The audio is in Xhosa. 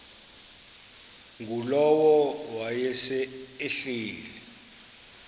ngulowo wayesel ehleli